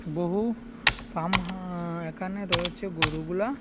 বহু ফার্মহা্-আ এখানে রয়েছে গোরুগুলা।